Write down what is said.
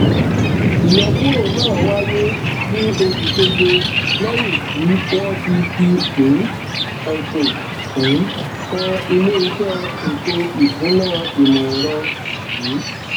ìyọkúrò náà wáyé ní oṣù keje lẹyìn tí wọn ti fi um ẹsùn um kan iléiṣẹ ètòìsúnáìmọẹrọ um